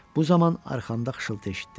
Bu zaman arxamda xışıltı eşitdim.